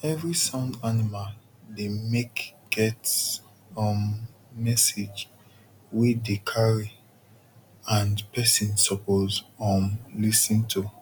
every sound animal dey make get um message wey dey carry and person suppose um lis ten to